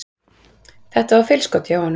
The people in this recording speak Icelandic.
Þetta var feilskot hjá honum.